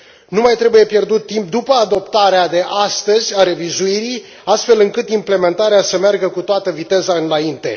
Nu mai trebuie pierdut timp după adoptarea de astăzi a revizuirii, astfel încât implementarea să meargă cu toată viteza înainte.